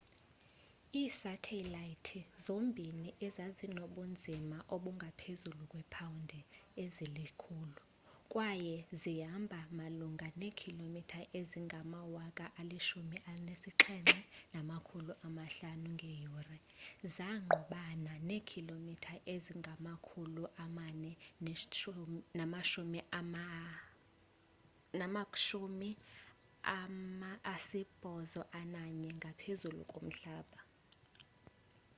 iisathelayithi zombini ezazinobunzima obungaphezulu kweepawundi ezili-1000 kwaye zihamba malunga neekhilomitha ezingama-17,500 ngeyure zangqubana neekhilomitha ezingama-491 ngaphezulu komhlaba